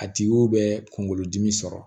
A tigiw bɛ kungolo dimi sɔrɔ